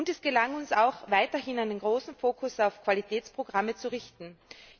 Und es gelang uns auch, weiterhin einen starken Fokus auf Qualitätsprogramme zu legen.